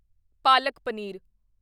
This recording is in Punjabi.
ਪਾਲਕ ਪਨੀਰ